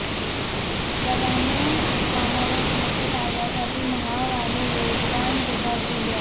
प्राधान्य कामावर समस्या टाळण्यासाठी महाग आणि वेगवान विभाग दिले जाते